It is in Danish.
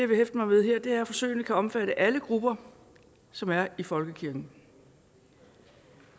vil hæfte mig ved her er at forsøgene kan omfatte alle grupper som er i folkekirken